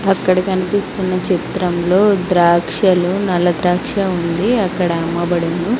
అక్కడ కనిపిస్తున్న చిత్రంలో ద్రాక్షలో నల్ల ద్రాక్ష ఉంది అక్కడ అమ్మబడును.